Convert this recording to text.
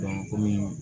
komi